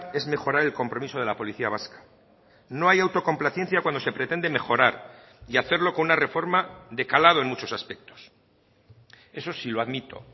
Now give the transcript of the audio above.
es mejorar el compromiso de la policía vasca no hay autocomplacencia cuando se pretende mejorar y hacerlo con una reforma de calado en muchos aspectos eso sí lo admito